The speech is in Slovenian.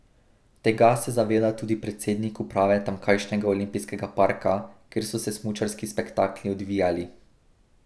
Tega se zaveda tudi predsednik uprave tamkajšnjega olimpijskega parka, kjer so se smučarski spektakli odvijali.